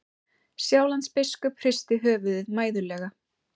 Sjálandsbiskup hristi höfuðið mæðulega.